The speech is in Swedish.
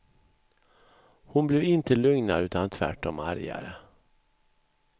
Hon blev inte lugnare utan tvärtom argare.